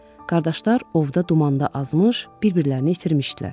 Qardaşlar ovda dumanda azmış, bir-birlərini itirmişdilər.